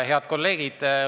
Head kolleegid!